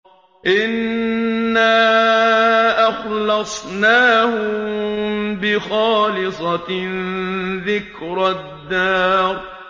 إِنَّا أَخْلَصْنَاهُم بِخَالِصَةٍ ذِكْرَى الدَّارِ